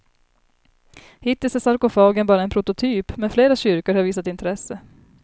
Hittills är sarkofagen bara en prototyp, men flera kyrkor har visat intresse.